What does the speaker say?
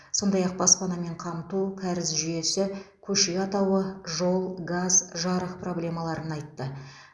сондай ақ баспанамен қамту кәріз жүйесі көше атауы жол газ жарык проблемаларын айтты